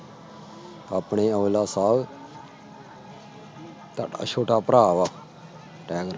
ਆਪਣੇ ਔਜਲਾ ਸਾਹਬ ਤਾਂ ਛੋਟਾ ਭਰਾ ਵਾ